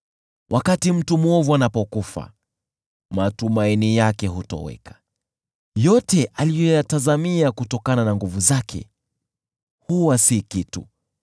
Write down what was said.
Wakati mtu mwovu anapokufa, matumaini yake hutoweka; yote aliyoyatazamia kutokana na nguvu zake huwa si kitu.